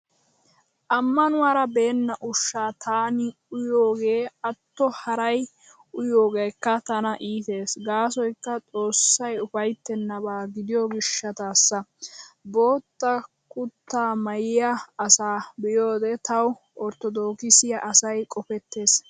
Ammanuwaara beenna ushshaa taani uyiyoogee atto haray uyiyoogeekka tana iitees gaasoykka xoossay ufayttennaba gidiyo gishshataassa. Bootta kuttaa maayiyaa asaa be'iyoode tawu orttodookisiyaa asay qopettees.